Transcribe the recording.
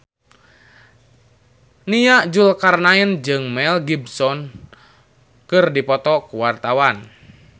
Nia Zulkarnaen jeung Mel Gibson keur dipoto ku wartawan